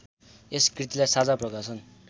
यस कृतिलाई साझा प्रकाशन